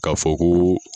K'a fɔ ko